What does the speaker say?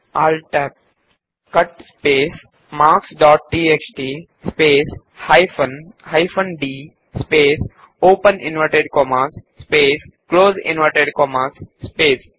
ALT Tab cut space marks dot TXT space hyphen d space open inverted commas space close inverted commas space